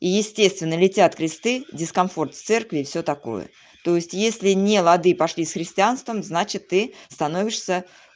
и естественно летят кресты дискомфорт церкви и всё такое то если не лады пошли с христианством значит ты становишься